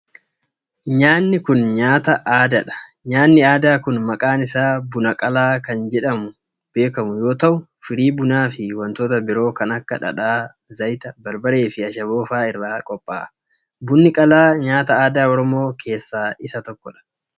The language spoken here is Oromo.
Nyaanni kun, nyaata aadaa dha. Nyaanni aadaa kun maqaan isaa buna qalaa kan jedhamuun beekamu yoo ta'u, firii bunaa fi wantoota biroo kan akka :dhadhaa, zayita, barbaree fi ashaboo faa irraa qopha'a. Bunni qalaa nyaata aadaa Oromoo keessaa isa tokko.